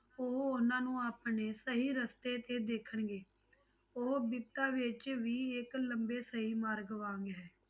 ਉਹ ਉਹਨਾਂ ਨੂੰ ਆਪਣੇ ਸਹੀ ਰਸ਼ਤੇ ਤੇ ਦੇਖਣਗੇ, ਉਹ ਬਿਪਤਾ ਵਿੱਚ ਵੀ ਇੱਕ ਲੰਬੇ ਸਹੀ ਮਾਰਗ ਵਾਂਗ ਹੈ।